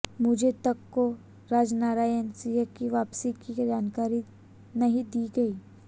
मुझ तक को राजनारायण सिंह की वापसी की जानकारी नहीं दी गई